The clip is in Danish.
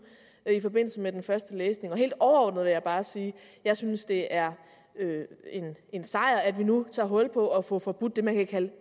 i forbindelse med den første læsning helt overordnet vil jeg bare sige at jeg synes det er en sejr at vi nu tager hul på at få forbudt det man kan